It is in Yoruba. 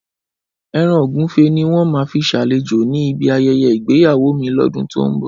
Ẹran Ògúnfe ni wọ́n máa fi ṣàlejò ní bí ayẹyẹ ìgbéyàwó mi lódún to n bò